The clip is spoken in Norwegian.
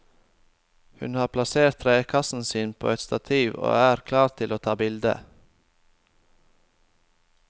Han har plassert trekassen sin på et stativ og er klar til å ta bilde.